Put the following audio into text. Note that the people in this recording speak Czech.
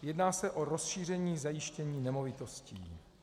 Jedná se o rozšíření zajištění nemovitostí.